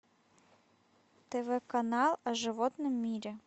тв канал о животном мире